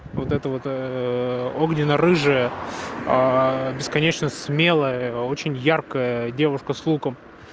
вот это вот огненно рыжая бесконечно смелая очень яркая девушка с луком